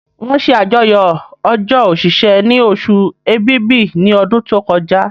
Wọ́n ṣe àyájọ́ ọjọ́ òṣìṣẹ́ ni osù èbìbí ní ọdún tó kọjá